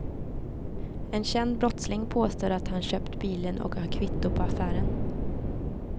En känd brottsling påstår att han köpt bilen och har kvitto på affären.